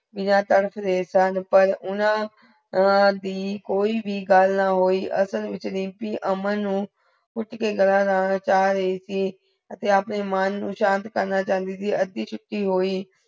ਬਿਨਾ ਤੜਪ ਦੇ ਤੰਨ ਪਰ ਉਨਹਾਂ ਉਨ੍ਹਾਂਦੀ ਕੋਈ ਭੀ ਗਲ ਨਾ ਹੋਈ ਅਸਲ ਵਿਚ ਰੀਮਪੀ ਅਮਨ ਨੂ ਕੁਟਕੇ ਗਲਾ ਲਗਾਨਾ ਚਾ ਰਹੀ ਸੀ ਤੇ ਅਪਨੇ ਮਨ ਨੂੰ ਸ਼ਾਨਥ ਕਰਨਾ ਚਾਂਦੀ ਸੀ ਅੱਧੀ ਛੁਟੀ ਹੁਈ